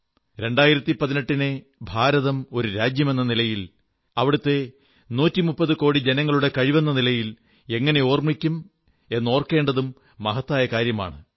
2018 നെ ഭാരതം ഒരു രാജ്യമെന്ന നിലയിൽ അവിടത്തെ 130 കോടി ജനങ്ങളുടെ കഴിവെന്ന നിലയിൽ എങ്ങനെ ഓർമ്മിക്കും എന്നോർക്കേണ്ടതും മഹത്തായ കാര്യമാണ്